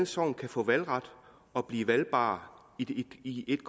sogn kan få valgret og blive valgbare i et